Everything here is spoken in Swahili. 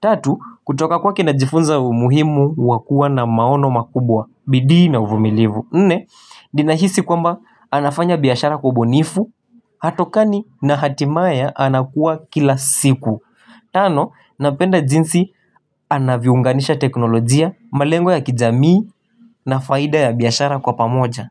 Tatu, kutoka kwake najifunza umuhimu wa kuwa na maono makubwa, bidii na uvumilivu Nne, ninahisi kwamba anafanya biashara kwa ubinifu, hatokani na hatimaye anakuwa kila siku Tano, napenda jinsi anavyounganisha teknolojia, malengo ya kijamii na faida ya biashara kwa pamoja.